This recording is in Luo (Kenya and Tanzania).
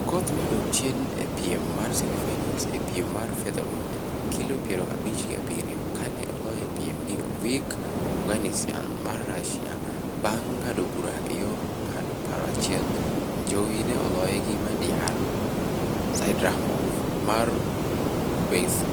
Okoth ne odok chien e piem mar semi-finals e piem mar featherweight (kilo piero abich gi abiriyo) kane oloye e piem gi Ovik Oganisyan mar Russia bang' ng'ado bura e yor ng'ado paro achiel to Ajowi ne oloye gi Madiyar Saidrahmov mar